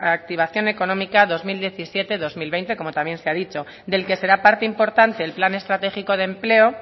reactivación económica dos mil diecisiete dos mil veinte como también se ha dicho del que será parte importante el plan estratégico de empleo